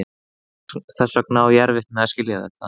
Þess vegna á ég erfitt með að skilja þetta.